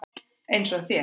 Eins og þér.